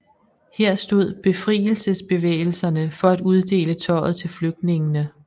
Her stod befrielsesbevægelserne for at uddele tøjet til flygtningene